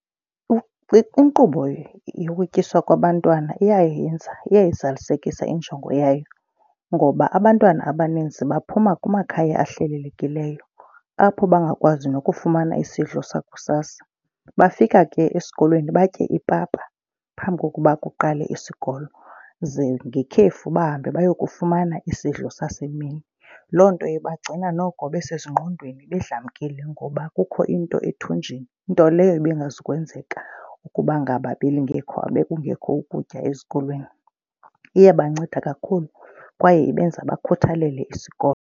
Inkqubo yokutyiswa kwabantwana iyayenza, eyayizalisekisa injongo yayo ngoba abantwana abaninzi baphuma kumakhaya ahlelelekileyo apho bangakwazi nokufumana isidlo sakusasa. Bafika ke esikolweni batye ipapa phambi kokuba kuqale isikolo. Ze ngekhefu bahambe bayokufumana isidlo sasemini. Loo nto ibagcina noko besezingqondweni bedlamkile ngoba kukho into ethunjini, nto leyo ibingazukwenzeka ukuba ngaba belingekho, bekungekho ukutya ezikolweni. Iyabanceda kakhulu kwaye ibenza bakhuthalele isikolo.